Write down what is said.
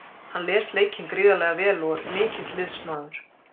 Hann les leikinn gríðarlega vel og er mikill liðsmaður.